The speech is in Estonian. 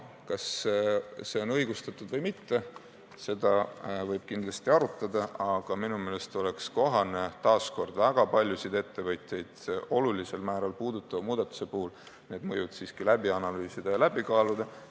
Kas see on õigustatud või mitte, seda võib kindlasti arutada, aga minu meelest oleks kohane väga paljusid ettevõtjaid suurel määral puudutava muudatuse puhul need mõjud siiski läbi analüüsida ja läbi kaaluda.